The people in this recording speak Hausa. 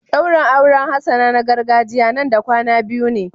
Daurin auren Hassana na gargajiya Nan da kwana biyu ne.